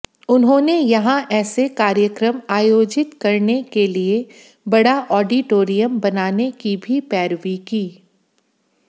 उन्होंने यहां ऐसे कार्यक्रम आयोजित करने के लिए बड़ा आडिटोरियम बनाने की भी पैरवी की